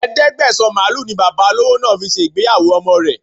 Ẹ̀ẹ́dẹ́gbẹ̀sán màlúù ni Bàbá olówó náà fi ṣe ìgbéyàwó ọmọ rẹ